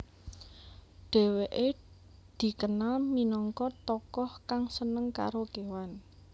Dheweke dikenal minangka tokoh kang seneng karo kewan